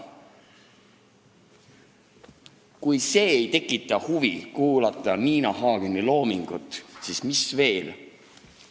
" Kui see ei tekita huvi kuulata Nina Hageni loomingut, siis mis veel!